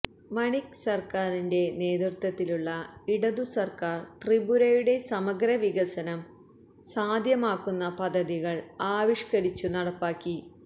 മണിക് സർക്കാരിന്റെ നേതൃത്വത്തിലുള്ള ഇടതു സർക്കാർ ത്രിപുരയുടെ സമഗ്രവികസനം സാധ്യമാക്കുന്ന പദ്ധതികൾ ആവിഷ്കരിച്ചു നടപ്പാക്കി